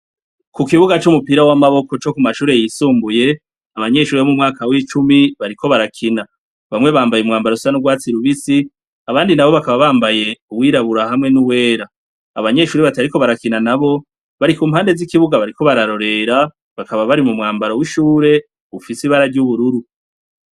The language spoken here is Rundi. Ku kibuga c'umupira w'amaboko co ku mashure y'isumbuye, abanyeshure bari mu mwaka w'icumi bariko barakina. bamwe bambaye umwambaro usa n'urwatsi rubisi, abandi nabo bakaba bambaye uwirabura hamwe n'uwera, abanyeshure batariko barakina nabo bari ku mpande z'ikibuga bariko bararorera, bakaba bari mu mwambaro w'ishure ufise ibara ry'ubururu.